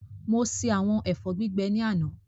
Mo ṣe àwọn ẹ̀fọ́ gbígbẹ náà ní àná